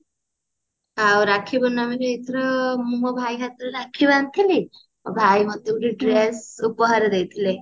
ଆଉ ରାକ୍ଷୀ ପୂର୍ଣମୀ ରେ ମୁଁ ମୋ ଭାଇ ହାତରେ ରାକ୍ଷୀ ବାନ୍ଧି ଥିଲି ଭାଇ ମତେ dress ଉପହାର ଦେଇଥିଲେ